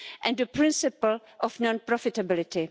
and the principle of non profitability.